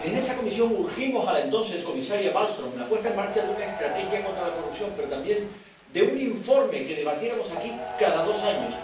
Y desde esa comisión urgimos a la entonces comisaria Malmström la puesta en marcha de una estrategia contra la corrupción, pero también de un informe que debatiéramos aquí cada dos años.